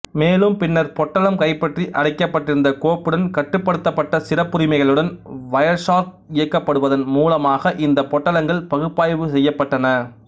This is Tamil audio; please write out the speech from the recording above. மேலும் பின்னர் பொட்டலம் கைப்பற்றி அடைக்கப்பட்டிருந்த கோப்புடன் கட்டுப்படுத்தப்பட்ட சிறப்புரிமைகளுடன் வயர்ஷார்க் இயக்கப்படுவதன் மூலமாக இந்த பொட்டலங்கள் பகுப்பாய்வு செய்யப்பட்டன